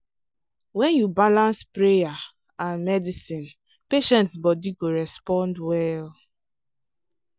when you balance prayer and medicine patient body go respond well.